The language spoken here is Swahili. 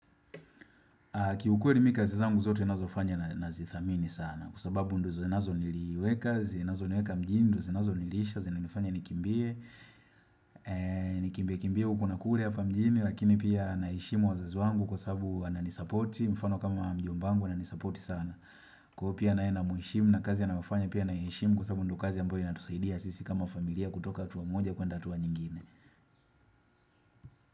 Kiukweli mimi kazi zangu zote ninazofanya na zithamini sana kwa sababu ndiyo zinazo niweka, zinazo niweka mjini, ndiyo zinazo nilisha, zinanifanya nikimbie, nikimbie kimbie huku na kule hapa mjini lakini pia naheshimu wazazi wangu kwa sababu wanani sapoti, mfano kama mjomba angu anani sapoti sana. Kwa hiyo pia naye na muheshimu na kazi anayofanya pia naiheshimu. Kwa sababu ndiyo kazi ambayo inatusaidia sisi kama familia kutoka hatua moja kuenda hatua nyingine.